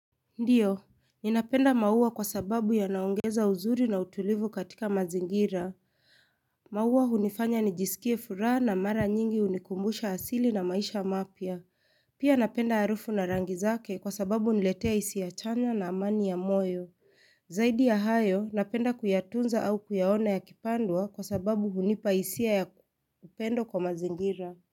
Ndiyo, ninapenda maua kwa sababu ya naongeza uzuri na utulivu katika mazingira. Maua hunifanya nijisikie furaha na mara nyingi unikumbusha asili na maisha mapya. Pia napenda harufu na rangi zake kwa sababu uniletea isia chanya na amani ya moyo. Zaidi ya hayo, napenda kuyatunza au kuyaona ya kipandwa kwa sababu hunipa isia ya upendo kwa mazingira.